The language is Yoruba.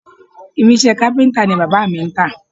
Irinṣẹ́ kápíntà ni bàbá mi ń tà